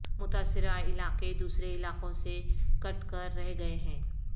متاثرہ علاقے دوسرے علاقوں سے کٹ کر رہ گئے ہیں